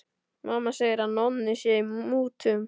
Mamma segir að Nonni sé í mútum.